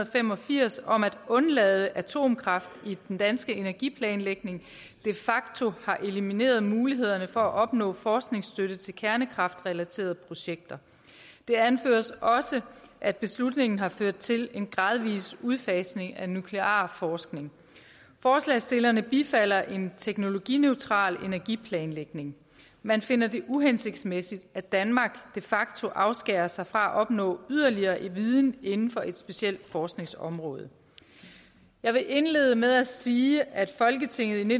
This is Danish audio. fem og firs om at undlade atomkraft i den danske energiplanlægning de facto har elimineret mulighederne for at opnå forskningsstøtte til kernekraftrelaterede projekter det anføres også at beslutningen har ført til en gradvis udfasning af nuklear forskning forslagsstillerne bifalder en teknologineutral energiplanlægning man finder det uhensigtsmæssigt at danmark de facto afskærer sig fra at opnå yderligere viden inden for et specielt forskningsområde jeg vil indlede med at sige at folketinget i